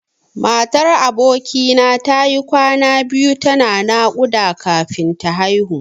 Matar aboki na tayi kwana biyu tana naƙuda kafin ta haihu.